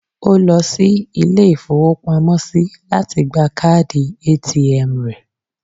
Ó lọ sí ilé-ìfowópamọ́sí lati gba káàdì ATM rẹ̀